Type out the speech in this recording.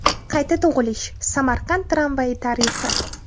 Qayta tug‘ilish: Samarqand tramvayi tarixi.